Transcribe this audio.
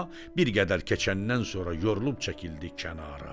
Bir qədər keçəndən sonra yorulub çəkildi kənara.